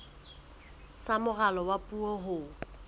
sa moralo wa puo ho